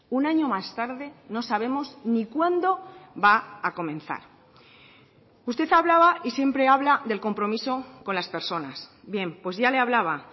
un año más tarde no sabemos ni cuándo va a comenzar usted hablaba y siempre habla del compromiso con las personas bien pues ya le hablaba